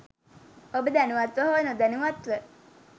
ඔබ දැනුවත්ව හෝ නොදැනුවත්ව